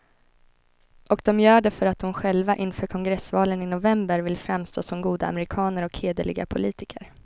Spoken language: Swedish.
Och de gör det för att de själva inför kongressvalen i november vill framstå som goda amerikaner och hederliga politiker.